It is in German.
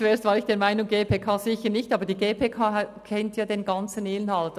Zuerst war ich der Meinung die GPK «sicher nicht», aber die GPK kennt den ganzen Inhalt.